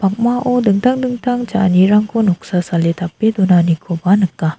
dingtang dingtang cha·anirangko noksa sale tape donanikoba nika.